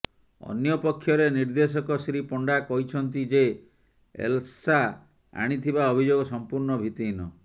ଅନ୍ୟପକ୍ଷରେ ନିର୍ଦେଶକ ଶ୍ରୀ ପଣ୍ଡା କହିଛନ୍ତି ଯେ ଏଲ୍ସା ଆଣିଥିବା ଅଭିଯୋଗ ସମ୍ପୂର୍ଣ୍ଣ ଭିତ୍ତିହୀନ